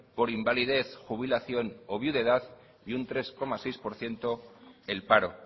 por invalidez jubilación o viudedad y un tres coma seis por ciento el paro